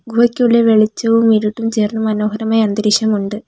ഗുഹയ്ക്കുള്ളിൽ വെളിച്ചവും ഇരുട്ടും ചേർന്ന മനോഹരമായ അന്തരീക്ഷം ഉണ്ട്.